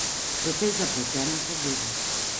Precej zapletena zadeva.